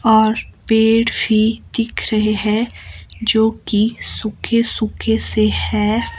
और पेड़ भी दिख रहे हैं जो कि सूखे-सूखे से हैं।